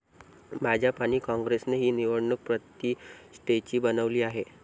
भाजप आणि कॉंग्रेसने ही निवडणूक प्रतिष्ठेची बनवली आहे.